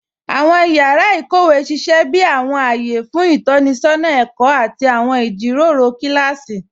Awọn yàrá íkówe sísẹ̀ bí awọn ayé fún itọnisọna ẹ̀kọ àti awọn ijíròró kilási.